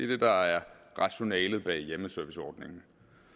det der er rationalet bag hjemmeserviceordningen